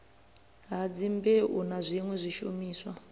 ha dzimbeu na zwiṋwe zwiimiswa